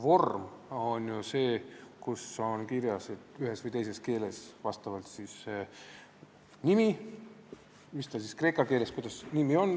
Vormil on ju nimi kirjas vastavalt ühes või teises keeles.